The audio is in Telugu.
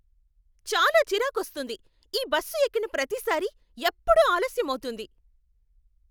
చాలా చిరాకొస్తుంది! ఈ బస్సు ఎక్కిన ప్రతిసారీ, ఎప్పుడూ ఆలస్యం అవుతుంది.